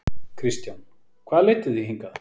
Kristján: Hvað leiddi þig hingað?